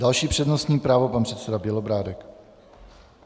Další přednostní právo - pan předseda Bělobrádek.